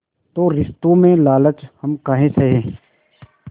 तो रिश्तों में लालच हम काहे सहे